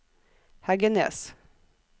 Heggenes